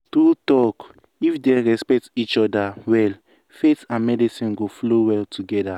true talk if dem respect each other well faith and medicine go flow well together.